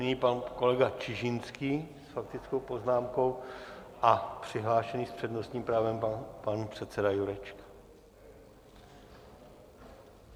Nyní pan kolega Čižinský s faktickou poznámkou a přihlášený s přednostním právem pan předseda Jurečka.